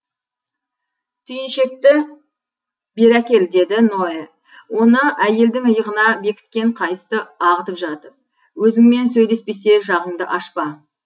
түйіншекті бері әкел деді ноэ оны әйелдің иығына бекіткен қайысты ағытып жатып өзіңмен сөйлеспесе жағыңды ашпа